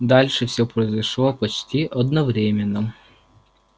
дальше всё произошло почти одновременно